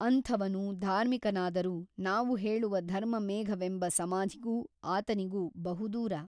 ಅಂಥವನು ಧಾರ್ಮಿಕನಾದರೂ ನಾವು ಹೇಳುವ ಧರ್ಮಮೇಘವೆಂಬ ಸಮಾಧಿಗೂ ಆತನಿಗೂ ಬಹು ದೂರ.